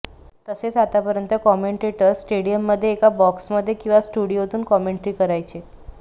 तसेच आतापर्यंत कॉमेंटेटर स्टेडियममध्ये एका बॉक्समध्ये किंवा स्टुडिओतून कॉमेंट्री करायचे